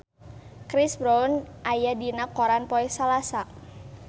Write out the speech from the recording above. Chris Brown aya dina koran poe Salasa